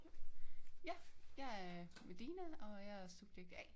Ja jeg er Medina og jeg er subjekt A